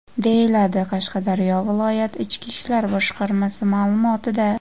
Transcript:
deyiladi Qashqadaryo viloyat ichki ishlar boshqarmasi ma’lumotida.